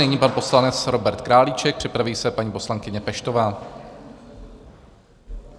Nyní pan poslanec Robert Králíček, připraví se paní poslankyně Peštová.